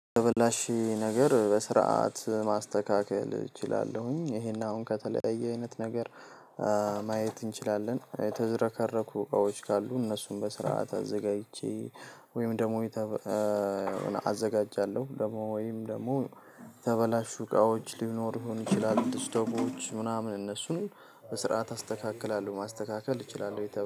የተበላሽ ነገር በስርዓት ማስተካከል እችላለሁኝ። ይሄን አሁን ከተለያየ አይነት ነገር ማየት እንችላለን። የተዘረከረኩ እቃዎች ካሉ እነሱን በስርዓት አዘጋጅቼ ወይም ደግሞ አዘጋጃለሁ ወይም ደግሞ የተበላሹ እቃዎችን ሊኖሩ ይችላሉ። እስቶቦች ምናምን እነሱን በስራዓት ታስተካክላለህ፤ ማስተካከል እችላለው።